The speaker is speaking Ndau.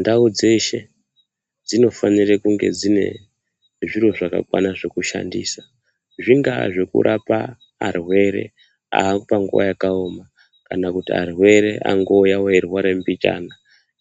Ndao dzeshe dzinofanire kunge dziine zviro zvakakwana zvekushandisa zvingaa zvekurapa arwere apanguva yakaoma kana arwere angouya eirwara mbichana